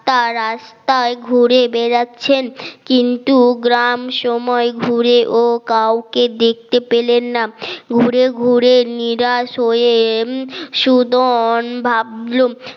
তা রাস্তায় ঘুরে বেড়াচ্ছেন কিন্তু গ্রাম সময় ঘুরে ও কাউকে দেখতে পেলেন না ঘুরে ঘুরে নিরাশ হয়ে সুদন ভাবলুম